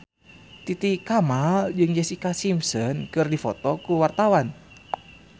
Titi Kamal jeung Jessica Simpson keur dipoto ku wartawan